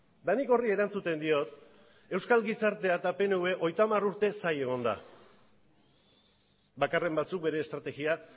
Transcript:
eta nik horri erantzuten diot euskal gizartea eta pnvk hogeita hamar urte zain egon da bakarren batzuk bere estrategia